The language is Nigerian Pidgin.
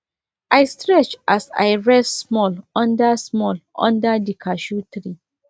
i stretch as i rest small under small under the cashew tree